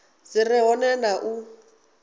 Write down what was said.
dzi re hone na u